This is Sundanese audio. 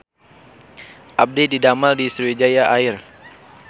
Abdi didamel di Sriwijaya Air